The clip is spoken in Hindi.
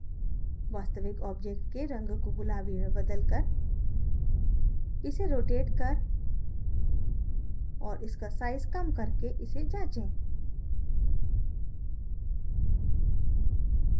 वास्तविक object के रंग को गुलाबी में बदलकर इसे रोटेट कर और इसका size कम करके इसे जाँचे